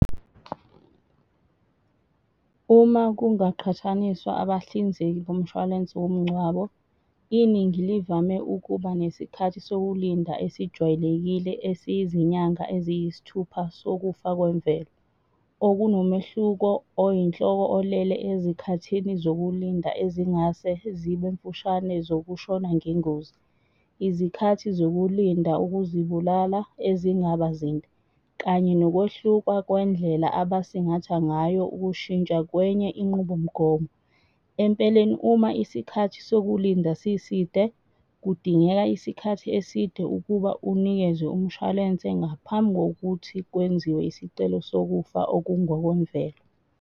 Uma kungaqhathaniswa abahlinzeki bomshwalense womngcwabo, iningi livame ukuba nesikhathi sokulinda esijwayelekile esiyizinyanga eziyisithupha sokufa kwemvelo. Okunomehluko oyinhloko olele ezikhathini zokulinda ezingase zibe mfushane zokushona ngengozi. Izikhathi zokulinda ukuzibulala ezingaba zinde, kanye nokwehluka kwendlela abasingatha ngayo ukushintsha kwenye inqubomgomo. Empeleni, uma isikhathi sokulinda siside kudingeka isikhathi eside ukuba unikezwe umshwalense ngaphambi kokuthi kwenziwe isicelo sokufa okungokwemvelo.